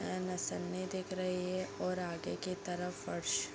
मौसमी दिख रही है और आगे की तरफ फर्श --